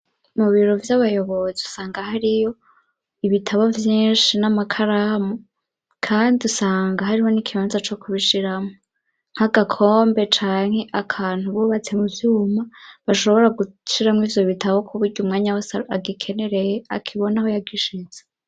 Mu biro vy'abayobozi usanga hariyo ibitabo vyinshi n'amakaramu kandi usanga hariho n'ikibanza co kubishiramwo. Nk'agakombe canke akantu bubatse mu vyuma bashobora gushiramwo ivyo bitabo ku buryo umwanya wose agikenereye akibona aho yagishitse.